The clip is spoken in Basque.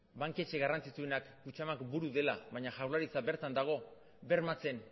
banketxe garrantzitsuenak kutxabank buru dela baina jaurlaritza bertan dago bermatzen